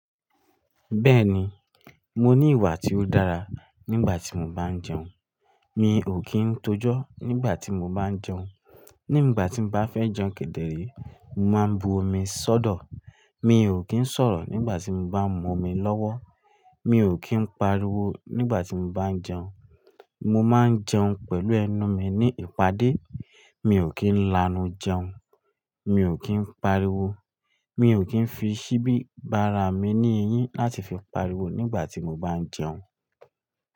Bẹ́ẹ̀ni, mo ní ìwà tí ó dára nígbà tí mo bá jẹun. Mi ò kí ń tojọ́ nígbà tí mo bá ń jẹun. Nígbà tí bá fẹ́ jẹun kedere, mo máa ń bu omi sọ́dọ̀. Mi ò kí ń sọ̀rọ̀ nígbà tí bá ń mú omi lọ́wọ́. Mi ò kí ń pariwo nígbà tí bá ń jẹun. Mo máa ń jẹun pẹ̀lú ẹnu mi ní ìpàdé. Mi ò kí ń lanu jẹun. Mi ò kí ń pariwo. Mi ò kí ń fi síbi bàrà mi ní eyín láti fi pariwo nígbà tí mo bá ń jẹun.